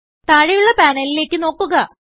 താഴെയുള്ള പാനലിലേക്ക് നോക്കുക